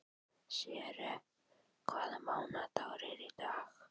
Sverre, hvaða mánaðardagur er í dag?